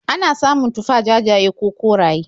Ana samun tufah jajaye ko koraye.